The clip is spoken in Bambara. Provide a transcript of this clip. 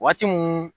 Waati mun